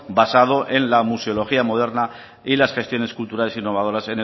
basado en la museología moderna y las gestiones culturales e innovadoras